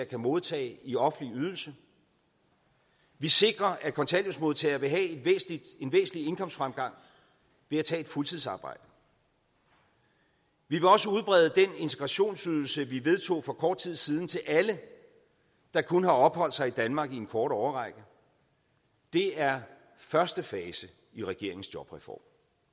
kan modtage i offentlig ydelse vi sikrer at kontanthjælpsmodtagere vil have en væsentlig indkomstfremgang ved at tage et fuldtidsarbejde vi vil også udbrede den integrationsydelse vi vedtog for kort tid siden til alle der kun har opholdt sig i danmark i en kort årrække det er første fase i regeringens jobreform